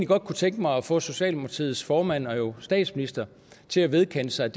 godt kunne tænke mig at få socialdemokratiets formand og jo statsministeren til at vedkende sig